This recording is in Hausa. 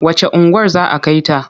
Wacce unguwar za a kai ta?